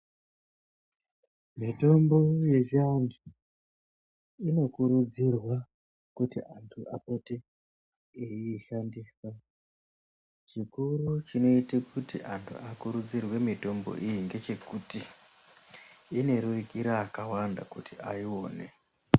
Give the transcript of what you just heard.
Mitombo yechiantu, inokurudzirwa kuti antu apote eiishandisa. Chikuru chinoite kuti antu akurudzirwe mitombo iyi ngechekuti, inorerukira akawanda kuti aione.